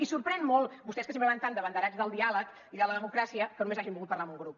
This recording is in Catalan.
i sorprèn molt vostès que sempre van tan d’abanderats del diàleg i de la democràcia que només hagin volgut parlar amb un grup